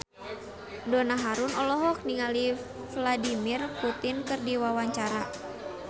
Donna Harun olohok ningali Vladimir Putin keur diwawancara